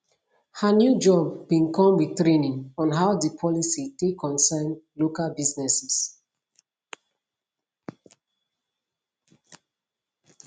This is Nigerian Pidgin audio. her new job bin come with training on how di policy take concern local businesses